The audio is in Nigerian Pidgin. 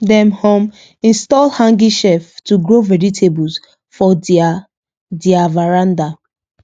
dem um install hanging shelf to grow vegetables for their their veranda